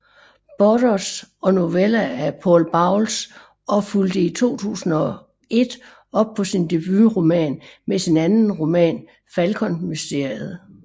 Burroughs og noveller af Paul Bowles og fulgte i 2001 op på sin debutroman med sin anden roman Falkonmysteriet